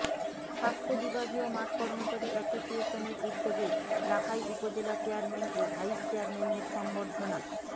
স্বাস্থ্য বিভাগীয় মাঠ কর্মচারী এসোসিয়েশনের উদ্যোগে লাখাই উপজেলা চেয়ারম্যান ও ভাইস চেয়ারম্যানদের সংবর্ধনা